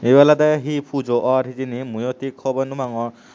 evay olode he pujo orr hejani mui tik hobor no pangor.